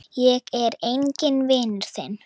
Ég er enginn vinur þinn!